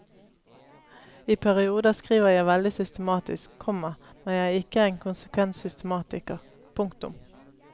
I perioder skriver jeg veldig systematisk, komma men jeg er ikke en konsekvent systematiker. punktum